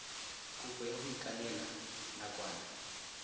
kopo ya go ikanela nakwana